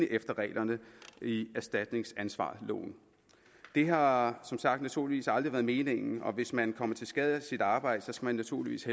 efter reglerne i erstatningsansvarsloven det har som sagt naturligvis aldrig været meningen hvis man kommer til skade af sit arbejde skal man naturligvis